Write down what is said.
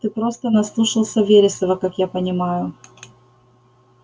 ты просто наслушался вересова как я понимаю